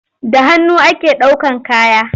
Da hannu ake ɗaukan kaya.